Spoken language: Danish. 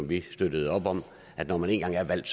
vi støttede op om at når man én gang er valgt